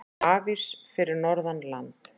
Hafís fyrir norðan land